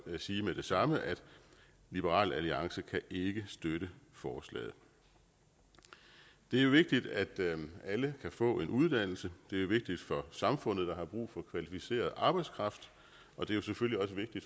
sige med det samme at liberal alliance ikke kan støtte forslaget det er vigtigt at alle kan få en uddannelse det er vigtigt for samfundet der har brug for kvalificeret arbejdskraft og det er selvfølgelig